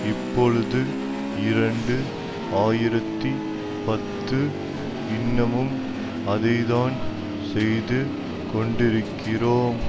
இப்பொழுது இரண்டு ஆயிரத்தி பத்து இன்னமும் அதை தான் செய்தி கொண்டிருக்கிறோம்